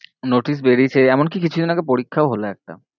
notice বেরিয়েছে এমন কি কিছুদিন আগে পরীক্ষাও হলো একটা।